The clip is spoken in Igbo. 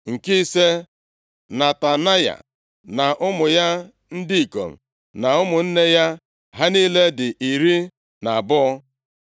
Nke ise, Netanaya na ụmụ ya ndị ikom na ụmụnne ya. Ha niile dị iri na abụọ (12).